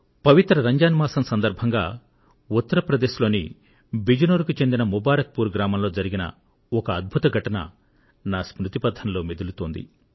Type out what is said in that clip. పవిత్ర రంజాన్ మాసం సందర్భంగా ఉత్తర ప్రదేశ్ లోని బిజ్ నోర్ కు చెందిన ముబారక్ పూర్ గ్రామంలో జరిగిన ఒక అద్భుత ఘటన నా స్మృతి పథంలో మెదులుతోంది